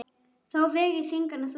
Þá veg ég þyngra en þú.